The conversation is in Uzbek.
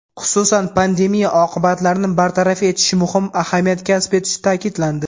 xususan pandemiya oqibatlarini bartaraf etish muhim ahamiyat kasb etishi ta’kidlandi.